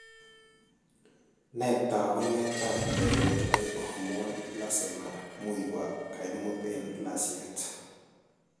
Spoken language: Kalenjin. Nee taakunetaab Thyroid hormone plasma muuywa kaimut en layset.